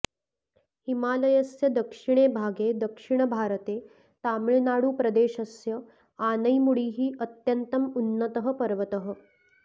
हिमालयस्य दक्षिणे भागे दक्षिणभारते तमिळुनाडुप्रदेशस्य आनैमुडिः अत्यन्तम् उन्नतः पर्वतः